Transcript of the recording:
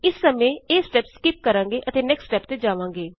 ਇਸ ਸਮੇਂ ਇਹ ਸਟੇਪ ਸਕਿੱਪ ਕਰਾਂਗੇ ਅਤੇ ਨੇਕਸਟ ਸਟੇਪ ਤੇ ਜਾਵਾਂਗੇ